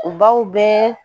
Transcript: U b'aw bɛ